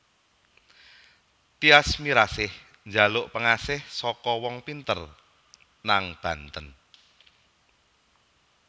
Tyas Mirasih njaluk pengasih saka wong pinter nang Banten